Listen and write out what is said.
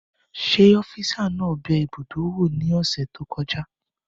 Ṣé ófisa naa bẹ ibùdó wò ní ọ̀sẹ̀ tó kọjá?